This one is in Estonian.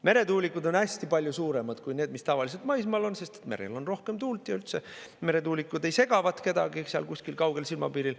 Meretuulikud on hästi palju suuremad kui need, mis tavaliselt maismaal on, sest merel on rohkem tuult ja üldse meretuulikud ei segavat kedagi seal kusagil kaugel silmapiiril.